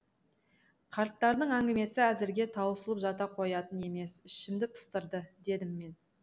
қарттардың әңгімесі әзірге таусылып жата қоятын емес ішімді пыстырды дедім мен